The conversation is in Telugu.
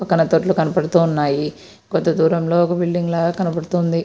ఇక్కడ కనబడుతూ ఉన్నాయి. కొద్ది దూరంలో ఒక బిల్డింగ్ లాగా కనబడుతుంది.